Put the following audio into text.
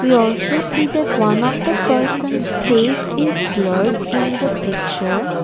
We also see that one of the persons face is blurred in the picture.